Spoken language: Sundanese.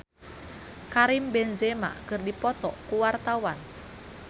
Petra Sihombing jeung Karim Benzema keur dipoto ku wartawan